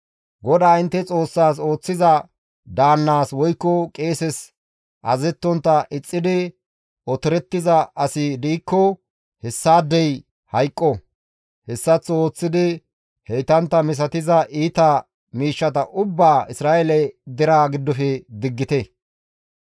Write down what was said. GODAA intte Xoossaas ooththiza daannaas woykko qeeses azazettontta ixxidi otorettiza asi diikko hessaadey hayqqo; hessaththo ooththidi heytantta misatiza iita miishshata ubbaa Isra7eele deraa giddofe diggite.